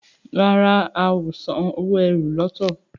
ràrá o ào sàn owo ẹ́rù lọto.